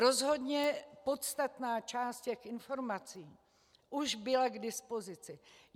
Rozhodně podstatná část těch informací už byla k dispozici.